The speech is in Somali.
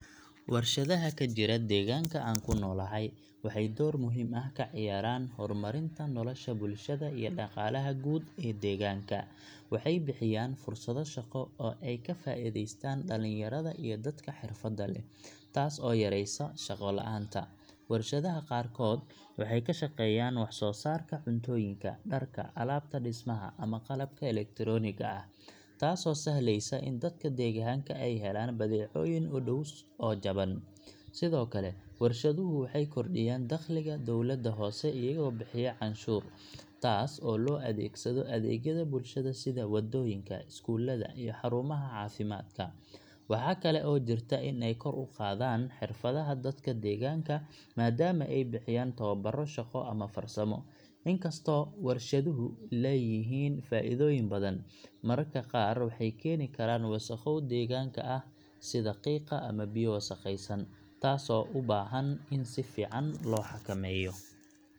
Warshadaha ka jira deegaanka aan ku noolahay waxay door muhiim ah ka ciyaaraan horumarinta nolosha bulshada iyo dhaqaalaha guud ee deegaanka. Waxay bixiyaan fursado shaqo oo ay ka faa’iidaystaan dhalinyarada iyo dadka xirfadaha leh, taas oo yaraysa shaqo la’aanta. Warshadaha qaarkood waxay ka shaqeeyaan wax soo saarka cuntooyinka, dharka, alaabta dhismaha ama qalabka elektarooniga ah, taasoo sahlaysa in dadka deegaanka ay helaan badeecooyin u dhow oo jaban. Sidoo kale, warshaduhu waxay kordhiyaan dakhliga dawladda hoose iyagoo bixiya canshuur, taas oo loo adeegsado adeegyada bulshada sida wadooyinka, iskuullada, iyo xarumaha caafimaadka. Waxa kale oo jirta in ay kor u qaadaan xirfadaha dadka deegaanka, maadaama ay bixiyaan tababaro shaqo ama farsamo. Inkastoo warshaduhu leeyihiin faa’iidooyin badan, mararka qaar waxay keeni karaan wasakhow deegaanka ah sida qiiqa ama biyo wasakhaysan, taas oo u baahan in si fiican loo xakameeyo.